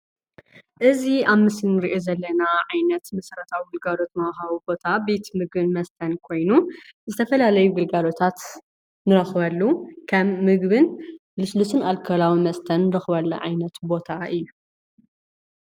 እዚ ኣብ ምስሊ እንሪኦ ዘለና ዓይነት መሰረታዊ ግልጋሎት መውሃቢ ቦታ ቤት ምግቢን መስተን ኮይኑ ዝተፈላለዩ ግልጋሎታት እንረክበሉ ከም ምግቢን ልስሉስን ኣልኮላዊ መስተን እንረክበሉ ዓይነት ቦታ እዩ።